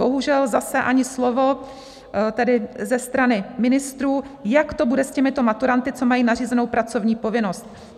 Bohužel zase ani slovo, tedy ze strany ministrů, jak to bude s těmito maturanty, co mají nařízenou pracovní povinnost.